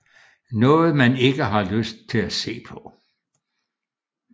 Noget man ikke har lyst til at se på